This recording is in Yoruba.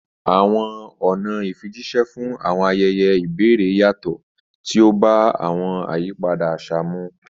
Àwọn ọ̀nà ìfijíṣẹ́ fún àwọn ayẹyẹ ìbẹ̀rẹ̀ yàtọ̀, tí ó bá àwọn àyípadà àṣà mu.